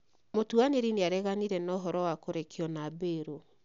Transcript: Mũtuanĩri nĩ areganire na ũhoro wa kũrekio na bĩrũ